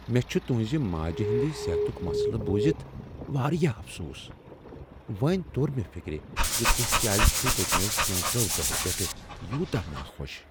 مےٚ چھ تہنٛز ماجہ ہنٛدۍ صحتُک مسلہٕ بوزِتھ واریاہ افسوس۔ وۄنۍ توٚر مےٚ فِکرِ ز تہۍ کیٛاز چھو پٔتمیو کینژو دۄہو پیٹھ یوتاہ ناخوش۔